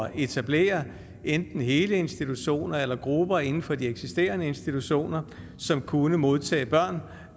etablere enten hele institutioner eller grupper inden for de eksisterende institutioner som kunne modtage børn